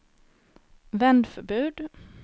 vändförbud